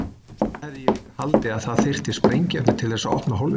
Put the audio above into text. Og svo hefði ég líka haldið að það þyrfti sprengiefni til þess að opna hólfið.